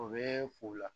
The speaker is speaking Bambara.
O bɛ u la